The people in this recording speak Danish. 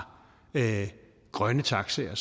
grønne taxaer